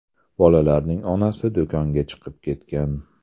Bolalarning onasi do‘konga chiqib ketgan.